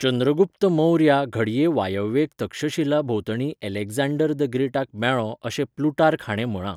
चंद्रगुप्त मौर्या घडये वायव्येक तक्षशिला भोंवतणी अलेक्झांडर द ग्रेटाक मेळ्ळो अशें प्लुटार्क हाणें म्हळां.